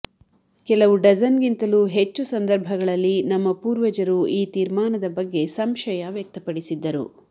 ಕೆಲವು ಡಜನ್ಗಿಂತಲೂ ಹೆಚ್ಚು ಸಂದರ್ಭಗಳಲ್ಲಿ ನಮ್ಮ ಪೂರ್ವಜರು ಈ ತೀರ್ಮಾನದ ಬಗ್ಗೆ ಸಂಶಯ ವ್ಯಕ್ತಪಡಿಸಿದ್ದರು